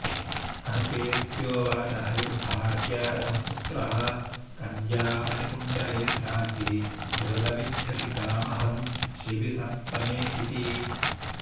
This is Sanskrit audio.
अनुपेत्योवाच हविर्भार्या रथं पुत्रः कन्या मणिकुण्डले द्रासी दृषदमिच्छति गामहं शिबिसप्तमे इति